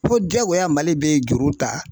Fo jaagoya Mali bɛ juru ta